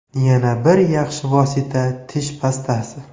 Yana bir yaxshi vosita tish pastasi.